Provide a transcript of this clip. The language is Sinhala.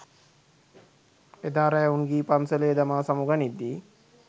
එදා රෑ උංගී පන්සලේ දමා සමු ගනිද්දී